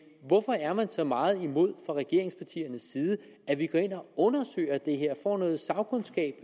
hvorfor er man så meget imod fra regeringspartiernes side at vi går ind og undersøger det her får noget sagkundskab